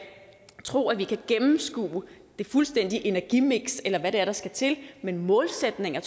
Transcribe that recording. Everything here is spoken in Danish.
tro at vi kan gennemskue det fuldstændige energimiks eller hvad det er der skal til men målsætninger